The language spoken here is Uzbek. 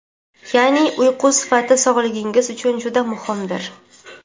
ya’ni uyqu sifati sog‘ligingiz uchun juda muhimdir.